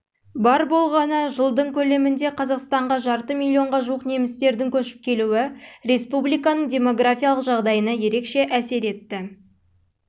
бар болғаны жылдың көлемінде қазақстанға жарты миллионға жуық немістердің көшіп келуі республиканың демографиялық жағдайына ерекше әсер етті